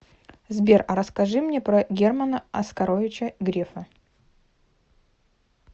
сбер а расскажи мне про германа оскаровича грефа